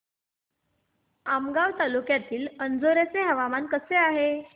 आमगाव तालुक्यातील अंजोर्याचे हवामान कसे आहे